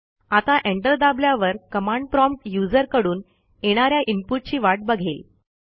आता एंटर दाबल्यावर command prompt user कडून येणा या इनपुट ची वाट बघेल